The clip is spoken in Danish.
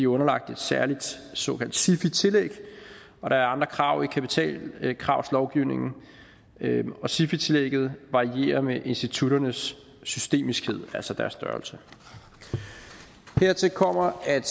underlagt et særligt såkaldt sifi tillæg og der andre krav i kapitalkravslovgivningen og sifi tillægget varierer med institutternes systemiskhed altså deres størrelse hertil kommer at